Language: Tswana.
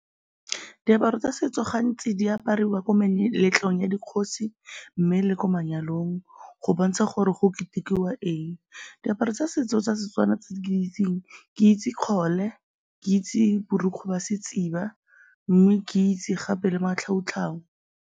Diaparo tsa setso gantsi di apariwa ko meletlong ya dikgosi mme le ko manyalong go bontsha gore go ketekiwa eng. Diaparo tsa setso tsa setswana tse ke di itseng, ke itse kgole, ke itse borokgwe ba setshiba mme ke itse gape le matlhau-tlhau.